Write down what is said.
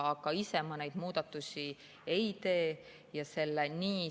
Aga ise ma neid muudatusi ei tee.